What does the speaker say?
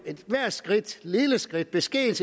ethvert skridt lille skridt beskedent